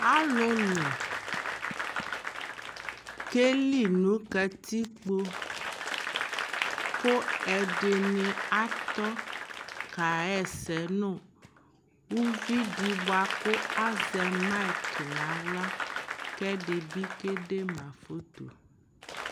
alolo keli no katikpo ko ɛdini atɔ ka ɣa ɛsɛ no uvi di boa ko azɛ maik no ala ko ɛdi bi ke de ma foto